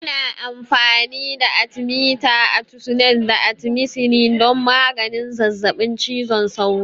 Ana amfani da Atimita, atisunet, da atimisinin don maganin zazzaɓin cizon sauro.